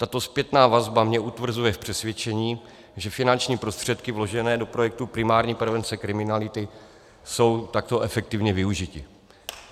Tato zpětná vazba mě utvrzuje v přesvědčení, že finanční prostředky vložené do projektu primární prevence kriminality jsou takto efektivně využity.